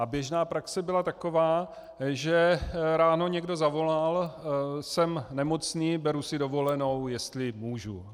A běžná praxe byla taková, že ráno někdo zavolal "jsem nemocný, beru si dovolenou, jestli můžu".